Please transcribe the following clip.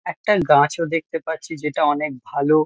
একটা গাছও দেখতে পাচ্ছি যেটা অনেক ভালো।